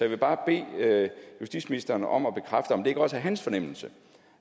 vil bare bede justitsministeren om at bekræfte om det ikke også er hans fornemmelse